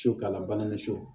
Su ka labana ni so